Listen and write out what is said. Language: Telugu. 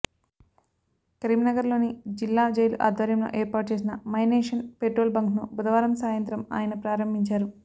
కరీంనగర్లోని జిల్లా జైలు ఆధ్వర్యంలో ఏర్పాటు చేసిన మైనేషన్ పెట్రోల్ బంక్ను బుధవారం సాయంత్రం ఆయన ప్రారంభించారు